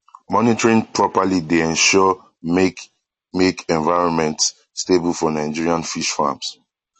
monitoring properly dey ensure make make environment stable for nigerian fish farms